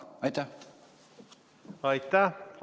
Aitäh!